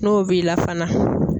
N'o b'i la fana